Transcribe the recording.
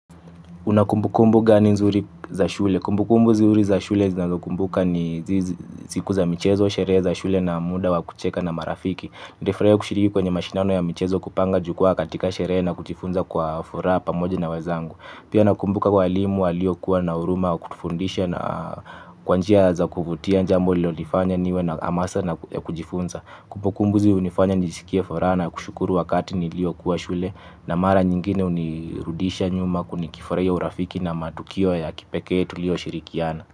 Una kumbu kumbu gani nzuri za shule? Kumbu kumbu zuri za shule zinazokumbuka ni zizi siku za michezo, sherehe za shule na muda wa kucheka na marafiki. Ndefraeo kushiriki kwenye mashindano ya michezo kupanga jukwaa katika sheree na kujifunza kwa furaa pamoja na wezangu. Pia nakumbuka walimu walio kuwa na uruma wa kutufundisha na kwanjia za kuvutia njambo lilo lifanya niwe na amasa ya kujifunza. Kumbukumbu izi hunifanya nijisikie furaha na kushukuru wakati nilio kuwa shule na mara nyingine hunirudisha nyuma kunikifuraia urafiki na matukio ya kipekee tu lio shirikiana.